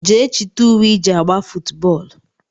Jee chita ùwé iji agba footu bóólú!!!